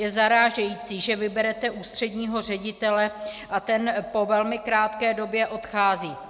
Je zarážející, že vyberete ústředního ředitele a ten po velmi krátké době odchází.